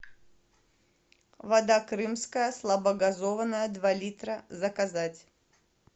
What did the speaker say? вода крымская слабогазованная два литра заказать